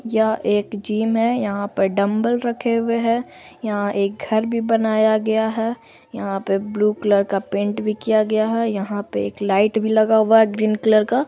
यह एक जिम है| यहाँ पर डंबल रखे हुए हैं| यहाँ एक घर भी बनाया गया है| यहाँ पे ब्लू कलर का पेंट किया गया है| यहाँ पे एक लाइट भी लगा हुआ है ग्रीन कलर का |